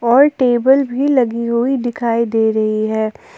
और टेबल भी लगी हुई दिखाई दे रही है।